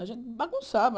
A gente bagunçava.